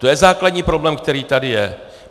To je základní problém, který tady je.